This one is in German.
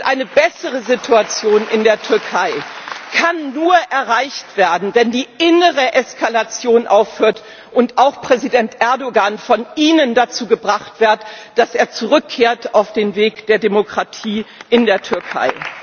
Eine bessere Situation in der Türkei kann nur erreicht werden, wenn die innere Eskalation aufhört und auch Präsident Erdoğan von Ihnen dazu gebracht wird, dass er zurückkehrt auf den Weg der Demokratie in der Türkei.